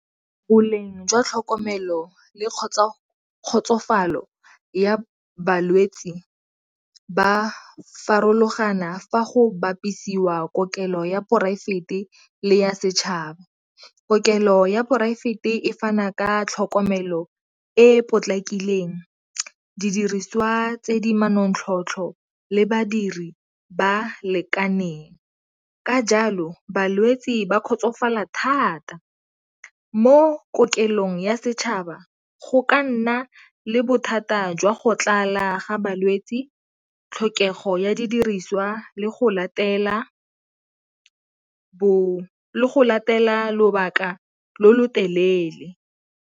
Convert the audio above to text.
Boleng jwa tlhokomelo le kgotsofalo ya balwetsi ba farologana fa go bapisiwa kokelo ya poraefete le ya setšhaba. Kokelo ya poraefete e fana ka tlhokomelo e e potlakileng, didiriswa tse di manontlhotlho, le badiri ba lekaneng ka jalo balwetsi ba kgotsofala thata. Mo kokelong ya setšhaba go ka nna le bothata jwa go tlala ga balwetsi, tlhokego ya didiriswa, le go latela lobaka lo lo telele.